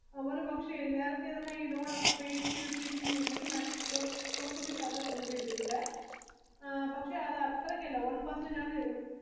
ഒരു പക്ഷെ നേരെത്തെ ഈ ലോൺ ഒക്കെ pay ചെയ്തത് തീരുമെന്നുണ്ടെങ്കിൽ charges ഉണ്ടിവിടെ പക്ഷെ അത് അത്രക്കല്ല